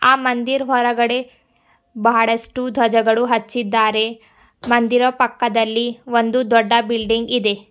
ಆ ಮಂದಿರ್ ಹೊರಗಡೆ ಬಹಳಷ್ಟು ಧ್ವಜಗಳು ಹಚ್ಚಿದ್ದಾರೆ ಮಂದಿರ ಪಕ್ಕದಲ್ಲಿ ಒಂದು ದೊಡ್ಡ ಬಿಲ್ಡಿಂಗ್ ಇದೆ.